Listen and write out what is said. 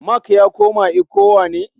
Mark ya koma ECWA ne?